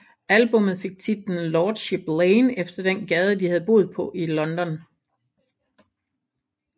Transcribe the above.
Albummet fik titlen Lordship Lane efter den gade de havde boet på i London